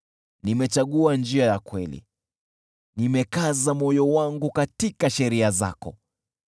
Nimechagua njia ya kweli, nimekaza moyo wangu katika sheria zako.